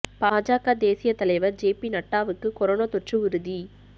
பாஜக தேசிய தலைவர் ஜே பி நட்டாவுக்கு கொரோனா தொற்று உறுதி